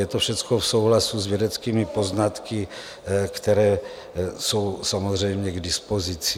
Je to všecko v souhlasu s vědeckými poznatky, které jsou samozřejmě k dispozici.